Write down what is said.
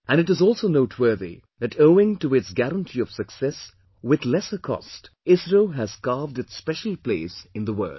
And it is also noteworthy that owing to its guarantee of success with lesser cost, ISRO has carved its special place in the world